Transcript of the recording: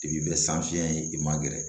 I bi bɛ san fiɲɛ i ma gɛrɛ